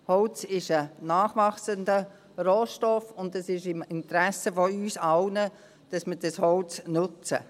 Holz ist ein nachwachsender Rohstoff, und es ist im Interesse von uns allen, dass wir dieses Holz nutzen.